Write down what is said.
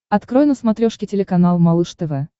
открой на смотрешке телеканал малыш тв